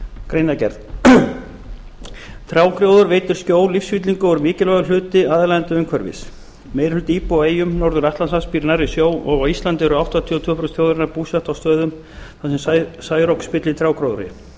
greinargerð trjágróður veitir skjól lífsfyllingu og er mikilvægur hluti aðlaðandi umhverfis meiri hluti íbúa á eyjum norður atlantshafs býr nærri sjó og á íslandi eru áttatíu og tvö prósent þjóðarinnar búsett á stöðum þar sem særok spillir trjágróðri